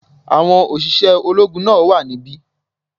Àwọn òṣìṣẹ́ ológun náà wà níbí